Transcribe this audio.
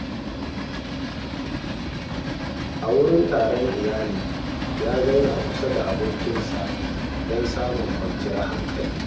A wurin taron iyali, ya zauna kusa da abokinsa don samun kwanciyar hankali.